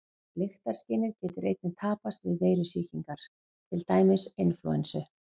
Lyktarskynið getur einnig tapast við veirusýkingar, til dæmis inflúensu.